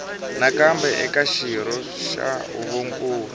nakambe eka xirho xa huvonkulu